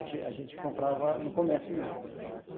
Não, a gente a gente comprava no comércio mesmo.